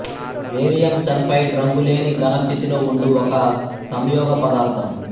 barium sulphide రంగులేని ఘన స్థితిలో ఉండు ఒక సంయోగపదార్థం